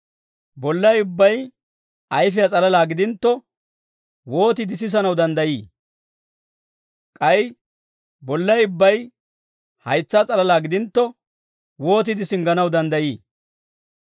Bollay ubbay ayfiyaa s'alalaa gidintto, wootiide sisanaw danddayii? K'ay bollay ubbay haytsaa s'alalaa gidintto, wootiide singganaw danddayii?